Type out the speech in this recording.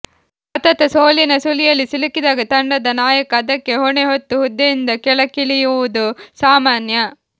ಸತತ ಸೋಲಿನ ಸುಳಿಯಲ್ಲಿ ಸಿಲುಕಿದಾಗ ತಂಡದ ನಾಯಕ ಅದಕ್ಕೆ ಹೊಣೆ ಹೊತ್ತು ಹುದ್ದೆಯಿಂದ ಕೆಳಕ್ಕಿಳಿಯುವುದು ಸಾಮಾನ್ಯ